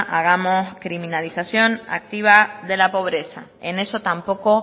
hagamos criminalización activa de la pobreza en eso tampoco